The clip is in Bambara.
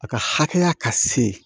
A ka hakɛ ya ka se